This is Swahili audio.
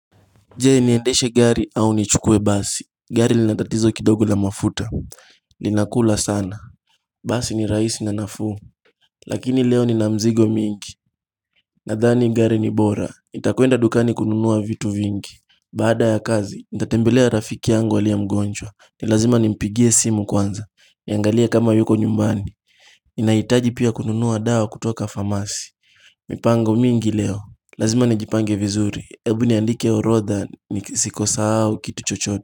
Je niendeshe gari au nichukue basi, gari linatatizo kidogo la mafuta linakula sana Basi ni rahisi na nafuu Lakini leo nina mzigo mingi Nadhani gari ni bora, itakuenda dukani kununua vitu vingi Baada ya kazi, nitatembelea rafiki yangu aliye mgonjwa, ni lazima nimpigie simu kwanza Niangalia kama yuko nyumbani ni nahitaji pia kununua daw kutoka pharmacy mipango mingi leo Lazima nijipange vizuri, ebu niandike orodha ni sikosa au kituchochote.